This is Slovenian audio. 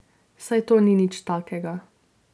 Saj to ni nič takega.